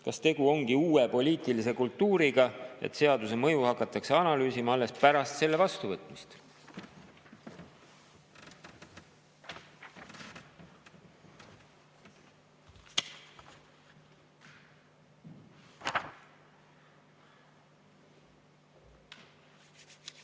Kas tegu ongi uue poliitilise kultuuriga, et seaduse mõju hakatakse analüüsima alles pärast selle vastuvõtmist?